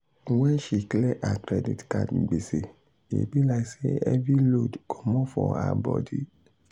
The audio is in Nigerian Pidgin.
when she clear her credit card gbese e be like say heavy load comot for her body.